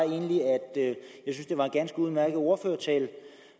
det var en ganske udmærket ordførertale